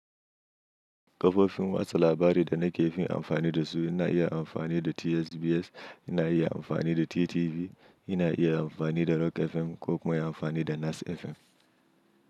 Kafofin watsa labari da na ke fin amfani da su ina iya amfani da TSBS, ina iya amfani da TTV, ina iya amfani da Rock FM ko kuma inyi amfani da Nas FM.